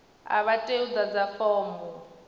a vha tei u ḓadza fomo